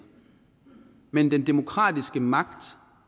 men den demokratiske magt